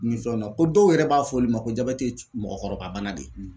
na ko dɔw yɛrɛ b'a fɔ olu ma ko jabɛti ye mɔgɔkɔrɔba bana de ye